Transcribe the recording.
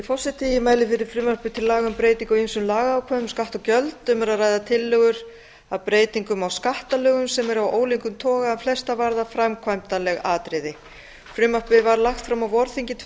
breytingu á ýmsum lagaákvæðum um skatta og gjöld um er að ræða tillögur að breytingum á skattalögum sem eru af ólíkum toga en flestar varða framkvæmdaleg atriði frumvarpið var lagt fram á vorþingi tvö